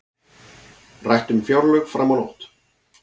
Rætt um fjárlög fram á nótt